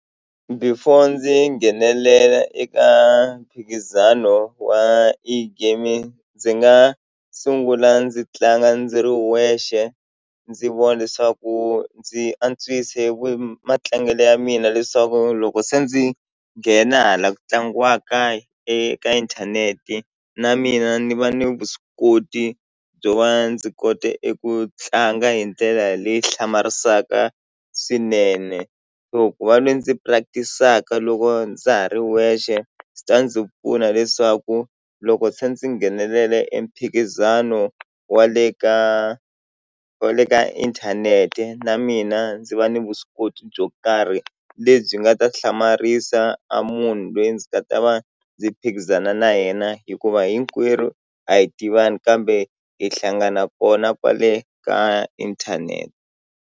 Before ndzi nghenelela eka mphikizano wa E-gaming ndzi nga sungula ndzi tlanga ndzi ri wexe ndzi vona leswaku ndzi antswise matlangelo ya mina leswaku loko se ndzi nghena hala ku tlangiwaka eka inthanete na mina ni va ni vuswikoti byo va ndzi kota eku tlanga hi ndlela leyi hlamarisaka swinene so ku va lwe ndzi practice-aka loko ndza ha ri wexe swi ta ndzi pfuna leswaku loko se ndzi nghenelela e mphikizano wa le ka wa le ka inthanete na mina ndzi va ni vuswikoti byo karhi lebyi nga ta hlamarisa a munhu lweyi ndzi nga ta va ndzi phikizana na yena hikuva hinkwerhu a hi tivani kambe hi hlangana kona kwale ka inthanete.